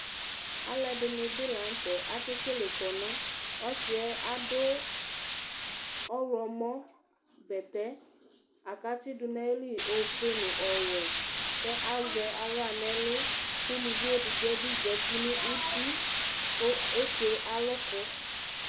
aluɛdɩnɩ bɩ lanutɛ kekle ilevle sɛ, adʊ ɔwlɔmɔ bɛtɛ la kʊ atsidʊ nʊ ayili ofue nʊ ɔwɛ, kʊ azɛ aɣla nʊ ɛlʊ kʊ ulʊvi edigbo bɩ zati nʊ uti kʊ eke alʊkʊ